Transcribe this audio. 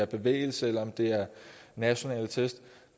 bevægelse eller nationale test